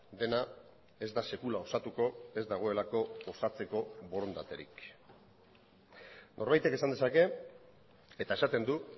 dena ez da sekula osatuko ez dagoelako osatzeko borondaterik norbaitek esan dezake eta esaten du